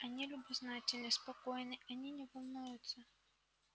они любознательны спокойны они не волнуются